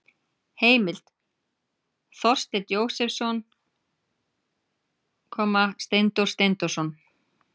Heimild: Þorsteinn Jósepsson, Steindór Steindórsson.